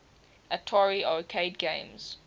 atari arcade games